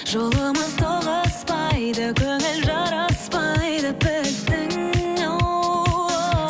жолымыз тоғыспайды көңіл жараспайды біздің ооо